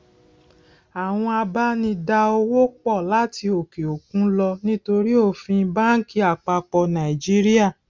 àwọn abá ní dá owó pò láti òkè òkun lọ nítorí òfin banki àpapọ nàìjíríà